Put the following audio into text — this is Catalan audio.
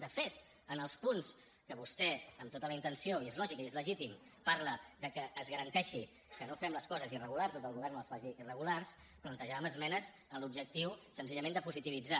de fet en els punts en què vostè amb tota la intenció i és lògic i és legítim parla de que es garanteixi que no fem les coses irregulars o que el govern no les faci irregulars plantejàvem esmenes amb l’objectiu senzillament de positivitzar